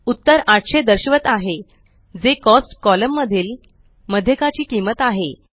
उत्तर 800 दर्शवत आहे जे कॉस्ट कॉलम मधील मध्यकाची किंमत आहे